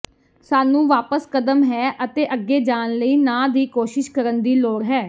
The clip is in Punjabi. ਸਾਨੂੰ ਵਾਪਸ ਕਦਮ ਹੈ ਅਤੇ ਅੱਗੇ ਜਾਣ ਲਈ ਨਾ ਦੀ ਕੋਸ਼ਿਸ਼ ਕਰਨ ਦੀ ਲੋੜ ਹੈ